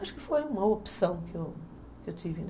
Acho que foi uma opção que eu que eu tive, né?